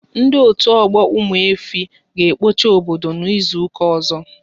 Ndị otu ọgbọ Ụmụife, ga ekpocha obodo n'izuka ọzọ